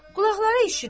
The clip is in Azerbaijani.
Qulaqları eşitmir.